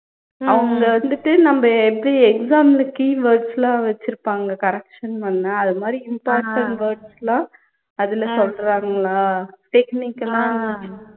அவங்க வந்துட்டு நம்ப எப்படி exam ல keywords லாம் வச்சிருப்பாங்க correction பண்ண அது மாதிரி important words லாம் அதுல சொல்றாங்களா technical ஆ